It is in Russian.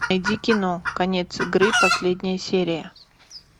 найди кино конец игры последняя серия